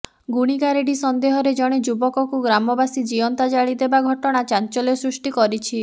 ଗୁଣିଗାରେଡ଼ି ସନ୍ଦେହରେ ଜଣେ ଯୁବକକୁ ଗ୍ରାମବାସୀ ଜୀଅନ୍ତା ଜାଳି ଦେବା ଘଟଣା ଚାଞ୍ଚଲ୍ୟ ସୃଷ୍ଟି କରିଛି